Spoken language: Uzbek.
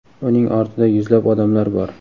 uning ortida yuzlab odamlar bor.